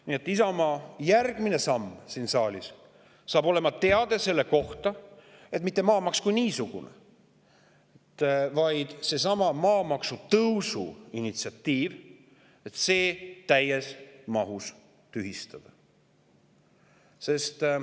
Nii et Isamaa järgmine samm siin saalis on teade selle kohta, et mitte maamaks kui niisugune, vaid seesama maamaksu tõusu initsiatiiv täies mahus tühistada.